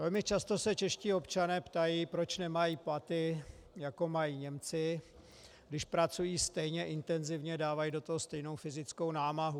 Velmi často se čeští občané ptají, proč nemají platy, jako mají Němci, když pracují stejně intenzivně, dávají do toho stejnou fyzickou námahu.